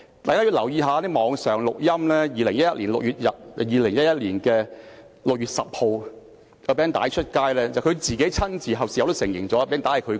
大家如果留意一些網上錄音，會發現在2011年6月10日，有一段錄音被公開，而他事後也親自承認那是他說的。